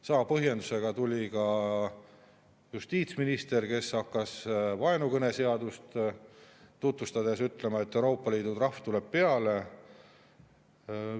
Sama põhjendusega tuli siia ka justiitsminister, kes hakkas vaenukõneseadust tutvustades ütlema, et Euroopa Liidu trahv tuleb peale.